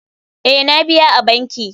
Ee, na biya a banki.